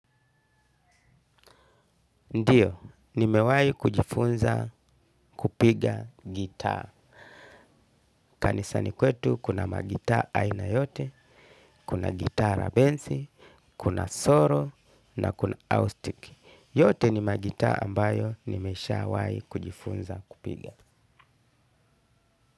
Ndiyo, nimewahi kujifunza kupiga gitaa. Kanisani kwetu kuna magitaa aina yote, kuna gitaa la densi, kuna solo na kuna austiki. Yote ni magitaa ambayo nimeshawahi kujifunza kupiga.